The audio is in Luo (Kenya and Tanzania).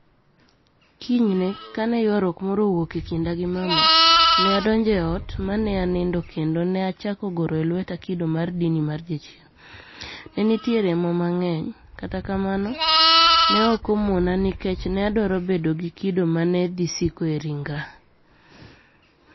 Kiniyni e, kani e ywaruok moro owuoke e kinida gi mama, ni e adonijo e ot ma ni e aniinidoe kenido ni e achako goro e lweta kido mar dinii mar jachieni. ni e niitie remo manig'eniy, kata kamano, ni e ok omonia, niikech ni e adwaro bedo gi kido ma ni e dhi siko e rinigra.